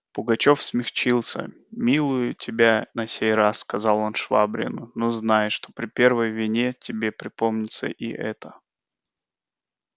пугачёв смягчился милую тебя на сей раз сказал он швабрину но знай что при первой вине тебе припомнится и эта